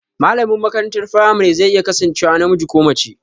Malamin makarantar firamare zai iya kasancewa namiji ko mace